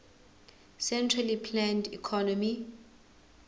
centrally planned economy